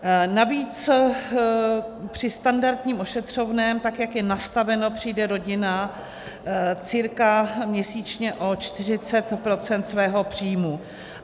Navíc při standardním ošetřovném, tak jak je nastaveno, přijde rodina cca měsíčně o 40 % svého příjmu.